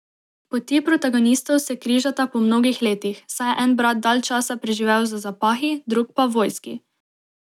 Poti protagonistov se križata po mnogih letih, saj je en brat dalj časa preživel za zapahi, drug pa v vojski.